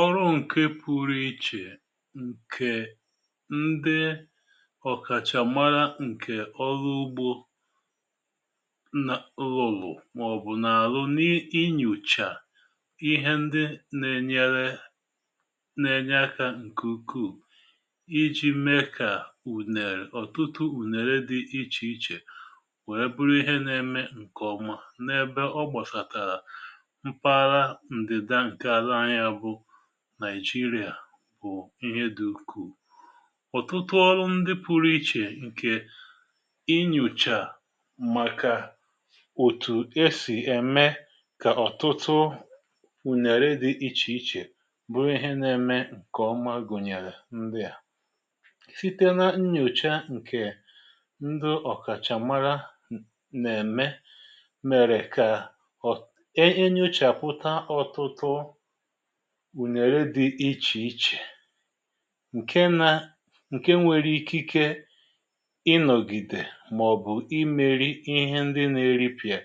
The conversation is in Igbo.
ọrụ ǹkè pụrụ ichè ǹkè ndị ọ̀kàchà mara ǹkè ọlụ ugbo n,' lụlụ màọ̀bụ̀ n’alụ n’inyòchà ihe ndị nà-ènyere nà-ènye aka ǹkè ukwuù iji̇ mee kà ùnèrè ọ̀tụtụ ùnèrè dị ichè ichè wèe bụrụ ihe nà-eme ǹkè ọma n’ebe ọ gbọsàtàrà mpaghara ndida nke ala anyi a bu naìjirià bụ̀ ihe dị̇ ukwù. ọ̀tụtụ ọrụ ndị pụrụ ichè ǹkè inyòchà à màkà òtù esì ème kà ọ̀tụtụ ùnyèrè dị̇ ichè ichè bụ ihe na-eme ǹkè ọma gụ̀nyèrè ndị à site na nnyòcha ǹkè ndi ọ̀kàchàmara nà-ème mèrè kà anyochaputa otutu o ùnàra dị̇ ichè ichè ǹke nȧ ǹke nwere ike ikė ịnọ̀gìdè màọ̀bụ̀ imėrị ihe ndị na-eripịà